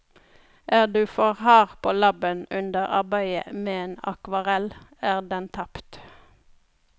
Er du for hard på labben under arbeidet med en akvarell er den tapt.